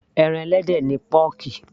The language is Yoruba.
ẹran ẹlẹ́dẹ̀ ni pọ́ọ̀kì